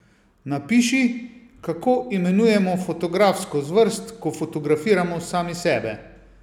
Napiši, kako imenujemo fotografsko zvrst, ko fotografiramo sami sebe?